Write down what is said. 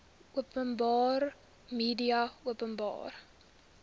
openbare media openbare